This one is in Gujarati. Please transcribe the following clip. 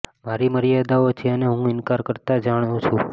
મારી મર્યાદાઓ છે અને હું ઇનકાર કરતા જાણુ છું